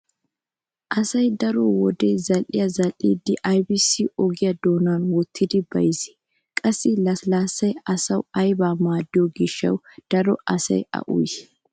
Asay daro wode zal"iya zal"iiddi aybissi ogiya doonan wottidi bayzzii? Qassi lasilaassay asawu aybaa maaddiyo gishshaassee daro asay a uyiyoy?